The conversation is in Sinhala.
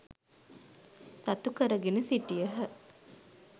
සතු කරගෙන සිටියහ.